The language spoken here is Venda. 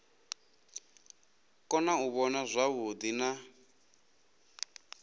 kona u vhona zwavhuḓi na